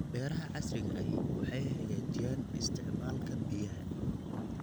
Beeraha casriga ahi waxay hagaajiyaan isticmaalka biyaha.